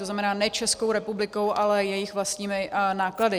To znamená ne Českou republikou, ale jejich vlastními náklady.